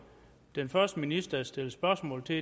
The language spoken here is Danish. den første minister der er stillet spørgsmål til